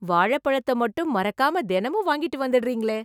வாழைப்பழத்தை மட்டும், மறக்காம தெனமும் வாங்கிட்டு வந்துடறீங்களே...